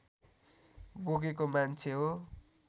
बोकेको मान्छे हो